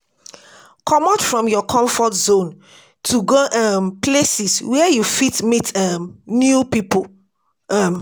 Comot from your comfort zone to go um places where you fit meet um new pipo um